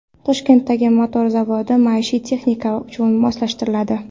Toshkentdagi motor zavodi maishiy texnika uchun moslashtiriladi.